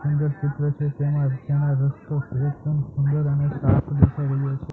અંદર ચિત્ર છે તેમાં તેમાં રસ્તો એકદમ સુંદર અને સાફ દેખાય રહ્યો છે.